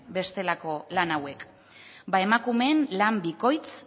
bestelako lan hauek bada emakumeen lan bikoitz